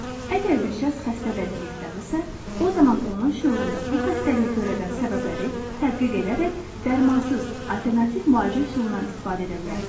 Əgər bir şəxs xəstə vəziyyətdədirsə, o zaman onun şüurunda bu xəstəliyi törədən səbəbləri tədqiq edərək dərmansız, alternativ müalicə üsulundan istifadə edə bilərsiz.